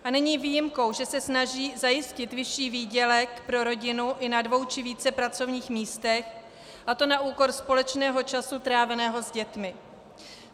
A není výjimkou, že se snaží zajistit vyšší výdělek pro rodinu i na dvou či více pracovních místech, a to na úkor společného času tráveného s dětmi.